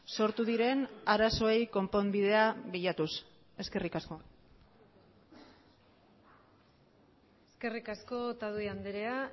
sortu diren arazoei konponbidea bilatuz eskerrik asko eskerrik asko otadui andrea